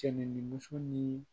Cɛin ni muso ni